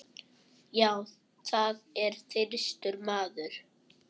Já, það er þyrstur maður.